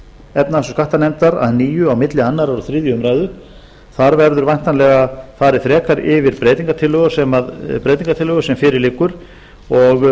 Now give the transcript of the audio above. efnahags og skattanefndar að nýju milli annars og þriðju umræðu þar verður væntanlega farið frekar yfir breytingartillögur sem fyrir liggur og